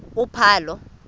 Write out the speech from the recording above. uphalo